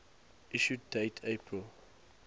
issue date april